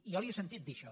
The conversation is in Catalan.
jo li he sentit dir això